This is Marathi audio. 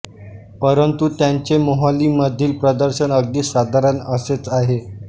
परंतू त्यांचे मोहालीमधील प्रदर्शन अगदी साधारण असेच आहे